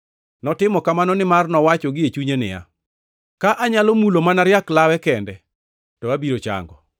Notimo kamano nimar nowacho gie chunye niya, “Ka anyalo mulo mana riak lawe kende to abiro chango.”